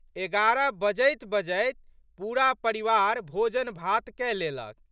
एगारह बजैत बजैत पूरा परिवार भोजनभात कए लेलक।